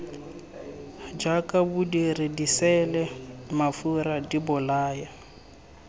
jaaka bodiri diseele mafura dibolaya